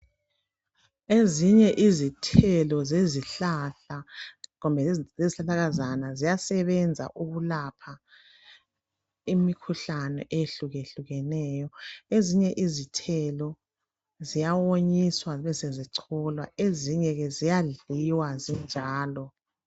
Ezinye izithelo zezihlahla kumbe yiz lezihlahlakazana ziyasebenza ukulapha imikhuhlane eyehlukehlukeneyo. Ezinye izitheli ziyawonyiswa zibesezicholwa. Ezinye ziyadliwa zinjalo.